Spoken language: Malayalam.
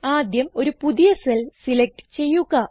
ആദ്യം ഒരു പുതിയ സെൽ സിലക്റ്റ് ചെയ്യുക